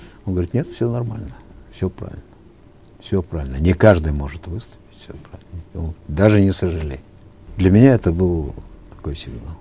он говорит нет все нормально все правильно все правильно не каждый может выстоять все ну даже не сожалей для меня это был такой сигнал